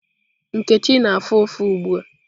Nkechi na-afụ ụfụ ugbu a.